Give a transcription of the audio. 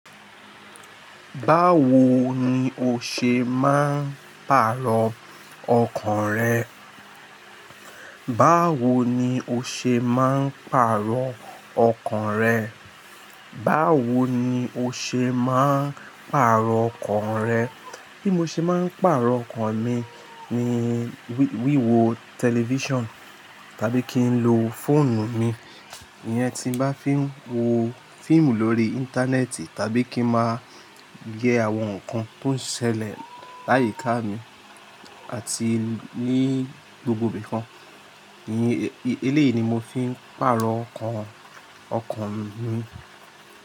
Báwo ni o ṣe máa ń pàrọ̀ ọkàn rẹ? Báwo ni o ṣe máa ń pàrọ̀ ọkàn rẹ? Báwo ni o ṣe máa ń pàrọ̀ ọkàn rẹ? Bí mo ṣe máa ń pàrọ̀ ọkàn mi ni wíwo television tàbí kí n lo fóònù mi. Ìyẹn tí bá fi ń wo fíìmù lórí Íńtánẹ́ẹ̀tì tàbí kí ń máa yẹ àwọn nǹkan tó ń ṣẹlẹ̀ láyi káà mi àti ní gbogbo bìkan. Eléyìí ni mo fi ń pàrọ̀ ọkàn, ọkàn mi.